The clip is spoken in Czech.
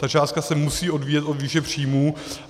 Ta částka se musí odvíjet od výše příjmů.